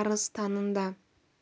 арыс-танында